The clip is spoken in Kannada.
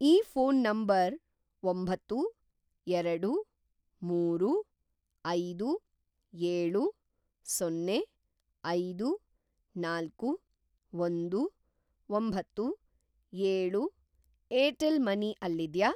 ಈ ಫೋನ್‌ ನಂಬರ್‌ ಒಂಬತ್ತು, ಎರಡು, ಮೂರು, ಐದು, ಏಳು, ಸೊನ್ನೆ, ಐದು, ನಾಲ್ಕು, ಒಂದು, ಒಂಬತ್ತು, ಏಳು ಏರ್‌ಟೆಲ್‌ ಮನಿ ಅಲ್ಲಿದ್ಯಾ?